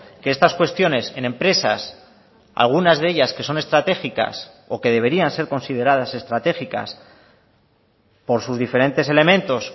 que estas cuestiones en empresas algunas de ellas que son estratégicas o que deberían ser consideradas estratégicas por sus diferentes elementos